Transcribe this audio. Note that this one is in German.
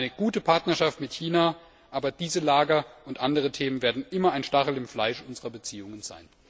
Ich wünsche mir eine gute Partnerschaft mit China, aber diese Lager und andere Themen werden immer ein Stachel im Fleisch unserer Beziehungen sein.